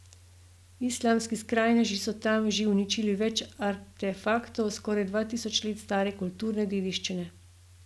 Islamski skrajneži so tam že uničili več artefaktov skoraj dva tisoč let stare kulturne dediščine.